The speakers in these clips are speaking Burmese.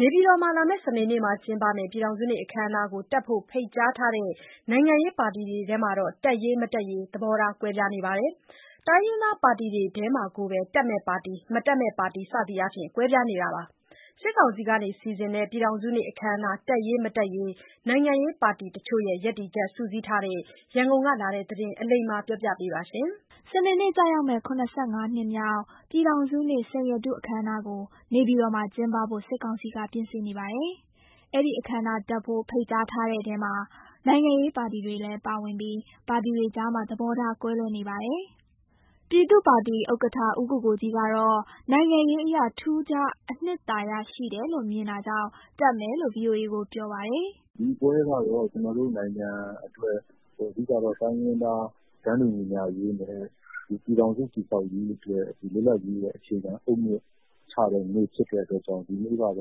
နေပြည်တော်မှာ စနေနေ့ကျင်းပမယ့် ပြည်ထောင်စုနေ့အခမ်းအနားကိုတက်ဖို့ ဖိတ်ကြားထားတဲ့ နိုင်ငံရေးပါတီတွေထဲ တက်ရေး မတက်ရေး သဘောထားကွဲနေပါတယ်။ တိုင်းရင်းသားပါတီတွေထဲမှာကိုပဲ တက်မယ့်ပါတီ၊ မတက်မယ့်ပါတီ စသည်အားဖြင့် ကွဲပြားနေပါတယ်။ စစ်ကောင်စီကစီစဉ်တဲ့ ပြည်ထောင်စုနေ့အခမ်းအနား တက်ရေး မတက်ရေး နိုင်ငံရေးပါတီတချို့ရဲ့ ရပ်တည်ချက် စုစည်းထားတဲ့ ရန်ကုန်ကလာတဲ့သတင်းကို အလိမ္မာက တင်ပြပေးထားပါတယ်။ စနေနေ့ကျရောက်မယ့် ၇၅ နှစ်မြောက် ပြည်ထောင်စုနေ့ စိန်ရတုအခမ်းအနားကို နေပြည်တော်မှာကျင်းပဖို့ စစ်ကောင်စီက ပြင်ဆင်နေပါ တယ်။ အဲဒီအခမ်းအနားတက်ဖို့ ဖိတ်ထားတဲ့ထဲမှာ နိုင်ငံရေးပါတီတွေလည်းပါဝင်ပြီး ပါတီတွေကြားမှာ သဘောထား ကွဲလွဲနေပါတယ်။ ပြည်သူ့ပါတီဥက္ကဋ္ဌ ဦးကိုကိုကြီးကတော့ နိုင်ငံရေးအရ ထူးခြား အနှစ်သာရရှိတယ်လို့ မြင်တာကြောင့် တက်မယ်လို့ ဗွီအိုအေကို ပြောပါတယ်။ "ဒီပွဲကတော့ ကျနော်တို့နိုင်ငံအတွက် အဓိကတော့ တိုင်းရင်းသား တန်းတူညီမျှရေးနဲ့ ပြည်ထောင်စုတည်ဆောက်ရေးအတွက် လွတ်လပ်ရေးရဲ့ အခြေခံအုတ်မြစ်ချတဲ့ နေ့ဖြစ်တဲ့အတွက်ကြောင့် အဓိကတော့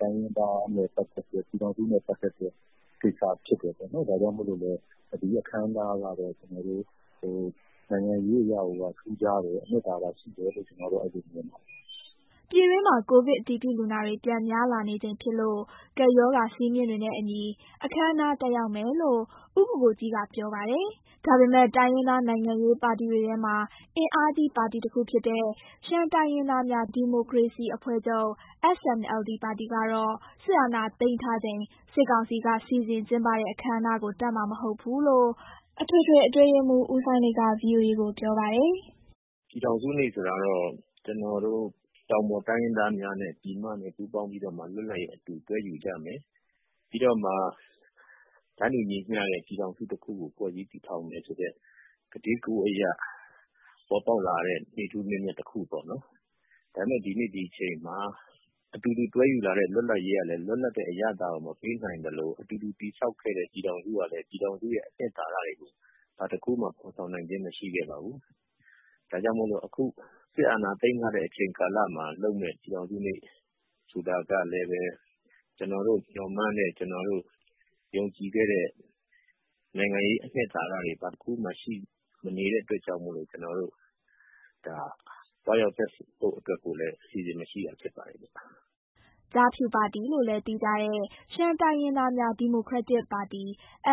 တိုင်းရင်းသားနဲ့ပတ်သက်တဲ့ ပြည်ထောင်စုနဲ့ ပတ်သက်တဲ့ကိစ္စဖြစ်တယ်ပေါ့နော်။ ဒါကြောင့်မို့လို့လည်း ဒီအခမ်းအနားကတော့ နိုင်ငံရေးအရကိုက ထူးခြားတယ်၊ အနှစ်သာရရှိတယ် လို့ ကျနော်တော့ အဲလိုမြင်ပါတယ်။" ပြည်တွင်းမှာ ကိုဗစ်အတည်ပြုလူနာတွေ ပြန်များလာနေချိန်ဖြစ်လို့ ကပ်ရောဂါစည်းမျဉ်းတွေနဲ့အညီ အခမ်းအနား တက်ရောက်မယ်လို့ ဦးကိုကိုကြီးက ပြောပါတယ်။ ဒါပေမယ့် တိုင်းရင်းသားနိုင်ငံရေးပါတီတွေထဲမှာ အင်အားကြီးပါတီတခုတဲ့ ရှမ်းတိုင်းရင်းသားများ ဒီမိုကရေစီအဖွဲ့ချုပ် (SNLD) ပါတီကတော့ စစ်အာဏာသိမ်းထားချိန် စစ်ကောင်စီက စီစဉ်ကျင်းပတဲ့ အခမ်းအနားကို တက်မှာမဟုတ်ဘူးလို့ အထွေထွေ အတွင်းရေးမှူး ဦးစိုင်းလိတ်က ဗွီအိုအေ ကို ပြောပါတယ်။ "ပြည်ထောင်စုနေ့ဆိုတာတော့ ကျနော်တို့ တောင်ပေါ်တိုင်းရင်းသားများနဲ့ ပြည်မနဲ့ပူးပေါင်းပြီးတော့မှ လွတ်လပ်ရေးအတူ တွဲယူကြမယ်။ ပြီးတော့မှ တန်းတူညီမျှတဲ့ ပြည်ထောင်စုတခုကို ဖွဲ့စည်းတည်ထောင်မယ်ဆိုတဲ့ ကတိကဝတ်အရ ပေါ်ပေါက်လာတဲ့ နေ့ထူးနေ့မြတ်တခုပေါ့နော်။ ဒါပေမယ့် ဒီနေ့ ဒီအချိန်မှာ အတူတူတွဲယူလာတဲ့ လွတ်လပ်ရေးကလည်း လွတ်လပ်တဲ့အရသာကို မပေးနိုင် သလို အတူတူတည်ဆောက်ခဲ့တဲ့ ပြည်ထောင်စုကလည်း ပြည်ထောင်စုရဲ့အနှစ်သာရတွေ ဘာတခုမှ ဖော်ဆောင် နိုင်ခြင်းမရှိခဲ့ပါဘူး။ ဒါကြောင့်မို့လို့ အခု စစ်အာဏာသိမ်းထားတဲ့ အချိန်ကာလမှာလုပ်မယ့် ပြည်ထောင်စုနေ့ဆိုတာကလည်းပဲ ကျနော်တို့မျှော်မှန်းတဲ့ ကျနော်တို့ယုံကြည်ခဲ့တဲ့ နိုင်ငံရေးအနှစ်သာရတွေ ဘာတခုမှ ရှိမနေတဲ့အတွက်ကြောင့်မို့လို့ ကျနော်တို့ ဒါသွားရောက်တက်ဖို့အတွက်ကိုလည်း အစီအစဉ်မရှိတာ ဖြစ်ပါတယ်ဗျ။" ကျားဖြူပါတီလို့လည်းသိကြတဲ့ ရှမ်းတိုင်းရင်းသားများ ဒီမိုကရက်တစ်ပါတီ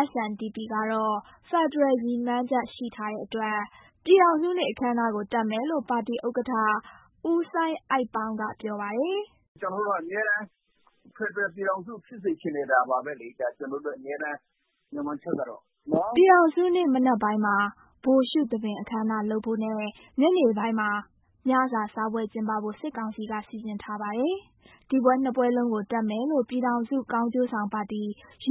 (SNDP) ကတော့ ဖက်ဒရယ်ရည်မှန်းချက် ရှိထားတဲ့ အတွက် ပြည်ထောင်စုနေ့အခမ်းအနားကို တက်မယ်လို့ ပါတီဥက္ကဋ္ဌ ဦးစိုင်းအိုက်ပေါင်းက ပြောပါတယ်။ "ကျနော်တို့က အမြဲတမ်း ဖက်ဒရယ်ပြည်ထောင်စု ဖြစ်စေချင်နေတာပါပဲလေ၊ ကျနော်တို့ရဲ့ အမြဲတမ်း မျှော်မှန်းချက်ကတော့။" ပြည်ထောင်စုနေ့မနက်ပိုင်းမှာ ဗိုလ်ရှုသဘင်အခမ်းအနားလုပ်ဖို့နဲ့ ညနေပိုင်းမှာ ညစာစားပွဲကျင်းပဖို့ စစ်ကောင်စီက စီစဉ်ထားပါ တယ်။ ဒီပွဲနှစ်ပွဲလုံးကိုတက်မယ်လို့ ပြည်ထောင်စု ကောင်းကျိုးဆောင် ပါတီ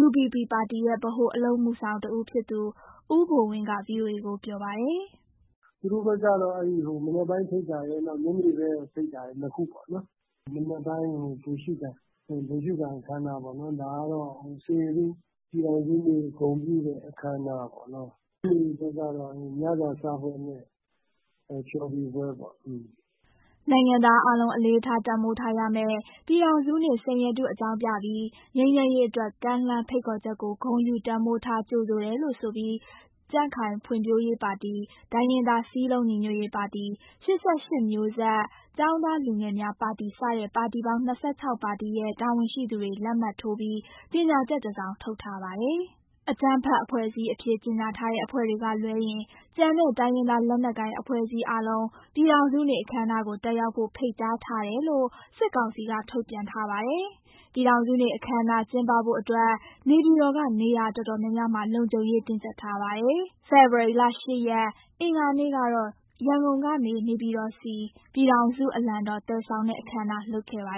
(UBP) ပါတီရဲ့ ဗဟိုအလုပ်အမှုဆောင်တဦးဖြစ်သူ ဦးဘိုဝင်းက ဗွီအိုအေကိုပြောပါတယ်။ "သူတို့ဘက်ကတော့ မနက်ပိုင်းဖိတ်တာရယ်၊ နောက် ညနေဘက်ဖိတ်တာရယ်၊ နှစ်ခုပေါ့နော်။ မနက်ပိုင်းကို ဗိုလ်ရှုခံအခမ်းအနား ပေါ့။ ဒါကတော့ စိန်ရတု ပြည်ထောင်စုနေ့ ဂုဏ်ပြုတဲ့အခမ်းအနားပေါ့နော်။ ညနေဘက်ကတော့ ညစာစားပွဲနဲ့ ဖျော်ဖြေပွဲပေါ့။" နိုင်ငံသားအားလုံး အလေးထား တန်ဖိုးထားရမယ့် ပြည်ထောင်စုနေ့ စိန်ရတု အကြောင်းပြပြီး ငြိမ်းချမ်းရေးအတွက် ကမ်းလှမ်း ဖိတ်ခေါ်ချက်ကို ဂုဏ်ယူ တန်ဖိုးထား ကြိုဆိုတယ်လို့ဆိုပြီး ကြံ့ခိုင်ဖွံ့ဖြိုးရေးပါတီ၊ တိုင်းရင်းသားစည်းလုံးညီညွတ်ရေးပါတီ၊ ၈၈ မျိုးဆက် ကျောင်းသားလူငယ်များပါတီ စတဲ့ ပါတီပေါင်း ၂၆ ပါတီရဲ့ တာဝန်ရှိသူတွေ လက်မှတ်ထိုးပြီး ကြေညာချက်တစောင် ထုတ်ထားပါတယ်။ အကြမ်းဖက်အဖွဲ့အစည်းအဖြစ် ကြေညာထားတဲ့ အဖွဲ့တွေကလွဲရင် ကျန်တဲ့ တိုင်းရင်းသားလက်နက်ကိုင် အဖွဲ့အစည်းအားလုံး ပြည်ထောင်စုနေ့အခမ်းအနားကို တက်ရောက်ဖို့ ဖိတ်ကြားထားတယ် လို့ စစ်ကောင်စီက ထုတ်ပြန်ထားပါတယ်။ ပြည်ထောင်စုနေ့ အခမ်းအနား ကျင်းပဖို့အတွက် နေပြည်တော်က နေရာတော်တော်များများမှာ လုံခြုံရေးတင်းကြပ်ထားပါတယ်။ ဖေဖော်ဝါရီလ ၈ ရက် အင်္ဂါနေ့ကတော့ ရန်ကုန်ကနေ နေပြည်တော်ဆီ ပြည်ထောင်စုအလံတော် သယ်ဆောင်တဲ့အခမ်းအနား လုပ်ခဲ့ပါ